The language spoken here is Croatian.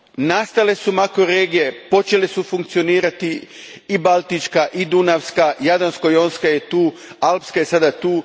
Nastale su makroregije, počele su funkcionirati, i Baltička i Dunavska, Jadransko jonska je tu i Alpska je sada tu.